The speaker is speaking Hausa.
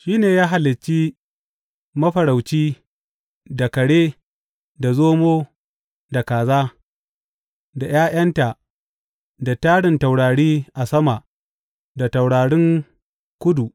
Shi ne ya halicci Mafarauci da Kare da Zomo, da Kaza, da ’Ya’yanta da tarin taurari a sama, da taurarin kudu.